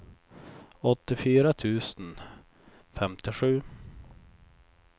åttiofyra tusen femtiosju